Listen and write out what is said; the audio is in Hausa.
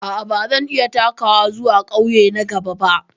A'a, ba zan iya takawa zuwa ƙauye na gaba ba.